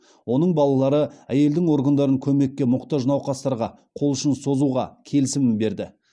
оның балалары әйелдің органдарын көмекке мұқтаж науқастарға қол ұшын созуға келісімін берді